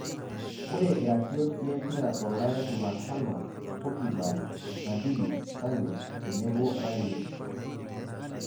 Ore iratiot lempira tolaya jumatano; Pogiba, nabiri, Sane tenebo Rangnick